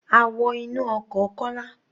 A wọ inú ọkọ̀ Kọ́lá.